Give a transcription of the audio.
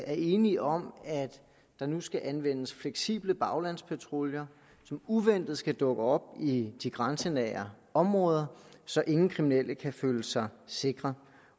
er enige om at der nu skal anvendes fleksible baglandspatruljer som uventet skal dukke op i de grænsenære områder så ingen kriminelle kan føle sig sikre